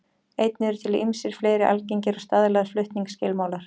Einnig eru til ýmsir fleiri algengir og staðlaðir flutningsskilmálar.